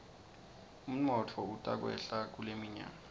umnotfo utakwehla kuleminyaka